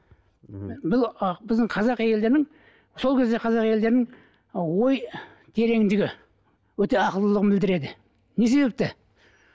ммм бұл біздің қазақ әйелдерінің сол кездегі қазақ әйелдерінің і ой тереңдігі өте ақылдылығын білдіреді не себепті